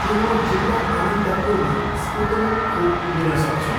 के म जिल्ला अनन्तपुरमा स्पुत्निक खोप लिन सक्छु?